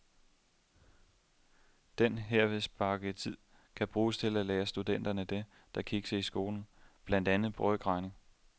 Den herved sparede tid kan bruges til at lære studenterne det, der kiksede i skolen, blandt andet brøkregning.